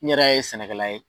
N yrɛɛ ye sɛnɛkɛla ye.